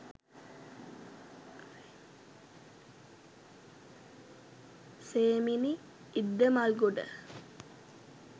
semini iddamalgoda